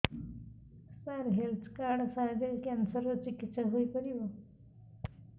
ସାର health card ସାହାଯ୍ୟରେ cancer ର ଚିକିତ୍ସା ହେଇପାରିବ